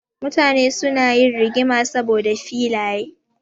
Mutane suna yin rigima saboda filaye.